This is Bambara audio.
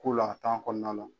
K'ola a kɔnɔna la.